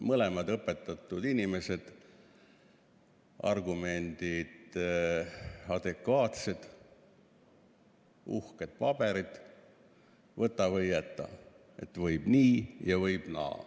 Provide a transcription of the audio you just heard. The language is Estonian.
Mõlemad on õpetatud inimesed, adekvaatsed argumendid, uhked paberid – võta või jäta, võib nii ja võib naa.